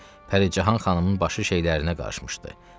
Pəricahan xanımın başı şeylərinə qarışmışdı.